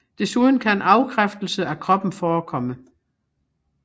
Desuden kan afkræftelse af kroppen forekomme